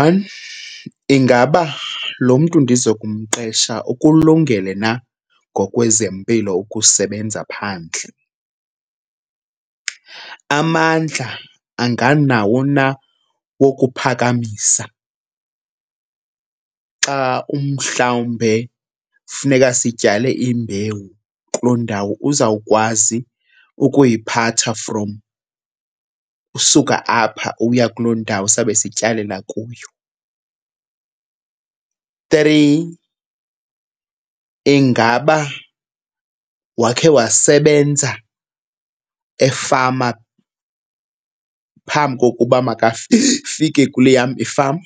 One, ingaba lo mntu ndizokumqesha ukulungele na ngokwezempilo ukusebenza phandle? Amandla anganawo na wokuphakamisa xa umhlawumbe funeka sityale imbewu kuloo ndawo. Uzawukwazi ukuyiphatha from usuka apha ukuya kuloo ndawo sawube sityalela kuyo? Three, ingaba wakhe wasebenza efama phambi kokuba makafike kule yam ifama?